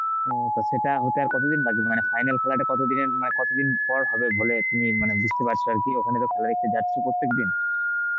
হম, তো সেটা হতে আর কতদিন বাকি মানে final খেলাটা কত দিনের মানে কতদিন পর হবে বলে তুমি মানে বুঝতে পারছ আর কি ওখানে তো খেলা দেখতে যাচ্ছ প্রত্যেকদিন.